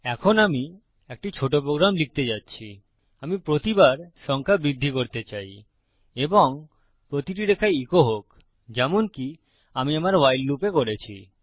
এখন আমি একটি ছোট প্রোগ্রাম লিখতে যাচ্ছি আমি প্রতিবার সংখ্যা বৃদ্ধি করতে চাই এবং প্রতিটি রেখায় ইকো হোক যেমনকি আমি আমার ভাইল লুপে করেছি